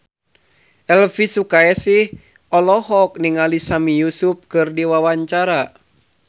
Elvy Sukaesih olohok ningali Sami Yusuf keur diwawancara